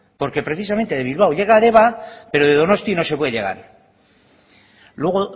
porque precisamente de bilbao llega a deba pero de donosti no se puede llegar luego